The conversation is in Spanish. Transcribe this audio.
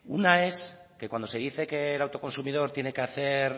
una es que cuando se dice que el autoconsumidor tiene que hacer